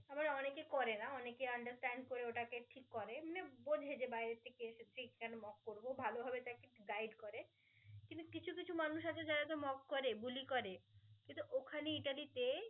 আবার অনেকেই করে না অনেকে understand করে ওটাকে ঠিক করে এমনে বোঝে বাইরে থেকে এসেছি কেন mock করে ভালভাবে তাকে guide করে কিছু কিছু মানুষ আছে যারা যা mock করে বুলি করে কিন্তু ওখানেই যা~